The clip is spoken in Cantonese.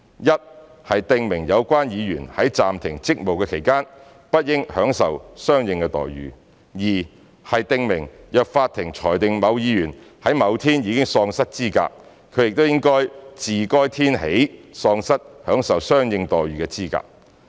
一、是訂明有關議員在暫停職務期間，不應享受相應待遇；及二、是訂明若法庭裁定某議員在某天已喪失資格，他亦應自該天起喪失享受相應待遇的資格。